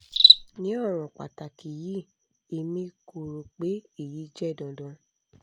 ni ọran pataki yii emi ko ro pe eyi jẹ dandan